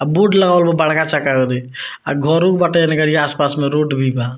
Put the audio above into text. और बोर्ड लगावल बा बड़का चक्का ओदे आ घरों बाटे एने गाड़ी आस-पास में रोड भी बा।